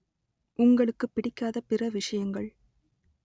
உங்களுக்குப் பிடிக்காத பிற விஷயங்கள்